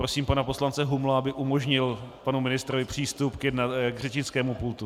Prosím pana poslance Humla, aby umožnil panu ministrovi přístup k řečnickému pultu.